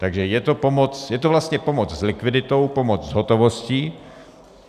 Takže je to pomoc, je to vlastně pomoc s likviditou, pomoc s hotovostí.